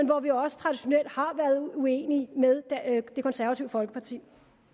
hvor vi også traditionelt har været uenige med det konservative folkeparti